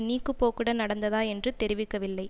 நீக்குப்போக்குடன் நடந்ததா என்று தெரிவிக்கவில்லை